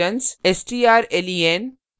strlen